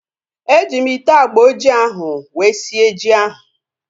E ji m ite agba ojii ahu wee sie ji ahu